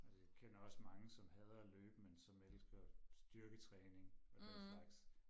Og kender også mange som hader at løbe men som elsker styrketræning og den slags